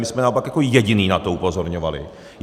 My jsme naopak jako jediní na to upozorňovali.